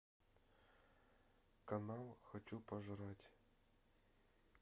канал хочу пожрать